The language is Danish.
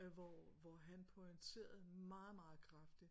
Øh hvor hvor han pointerede meget meget kraftigt